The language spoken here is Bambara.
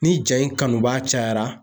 Ni ja in kanu b'a cayara